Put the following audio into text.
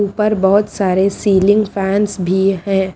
ऊपर बहोत सारे सीलिंग फैंस भी है।